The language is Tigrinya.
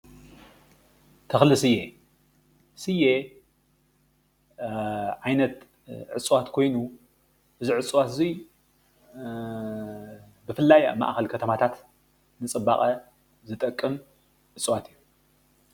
ተክሊ ስየ ስየ ዓይነት እፅዋት ኮይኑ እዚ እፅዋት እዚ ብፍላይ ኣብ ማእከል ከተማታት ንፅባቀ ዝጠቅም እፅዋት እዩ፡፡